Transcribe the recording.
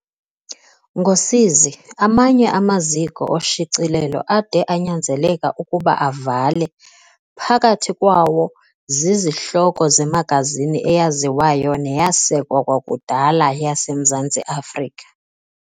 Ngosizi, amanye amaziko oshicilelo ade anyanzeleka ukuba avale, phakathi kwawo zizihloko zemagazini eyaziwayo neyasekwa kwakudala yaseMzantsi Afrika.